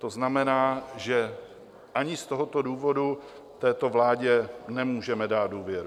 To znamená, že ani z tohoto důvodu této vládě nemůžeme dát důvěru.